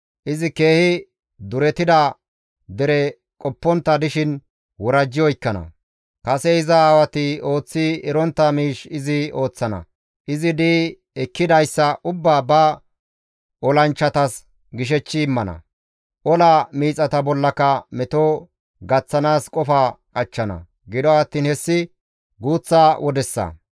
Izi keehi duretida dere qoppontta dishin worajji oykkana; kase iza aawati ooththi erontta miish izi ooththana; izi di7i ekkidayssa ubbaa ba olanchchatas gishechchi immana; ola miixata bollaka meto gaththanaas qofa qachchana; gido attiin hessi guuththa wodessa.